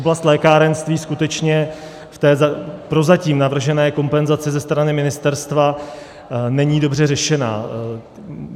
Oblast lékárenství skutečně v té prozatím navržené kompenzaci ze strany ministerstva není dobře řešena.